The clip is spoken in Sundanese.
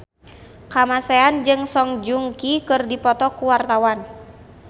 Kamasean jeung Song Joong Ki keur dipoto ku wartawan